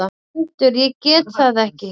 GVENDUR: Ég gat það ekki!